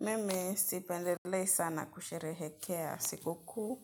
Mimi sipendelei sana kusherehekea siku kuu